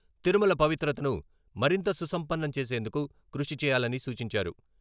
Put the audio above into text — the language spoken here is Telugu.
తిరుమల పవిత్రతను మరింత సుసంపన్నం చేసేందుకు కృషి చేయాలని సూచించారు.